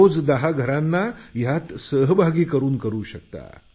रोज दहा घरांना यात सहभागी करू शकता